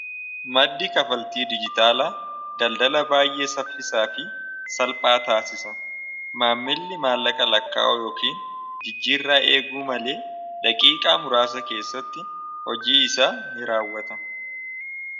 maddi kafaltii dijitaala daldala baay'ee saffisaa fi salphaa taasisa maammilli maallaqa lakkaa'u yookiin jijjiirraa eeguu malee laqiiqaa muraasa keessatti hojii isa ni raawwata